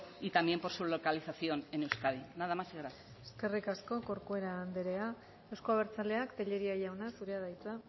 y también por su localización en euskadi nada más muchas gracias eskerrik asko corcuera anderea euzko abertzaleak tellería jauna zurea da hitza